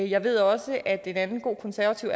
jeg ved også at en anden god konservativ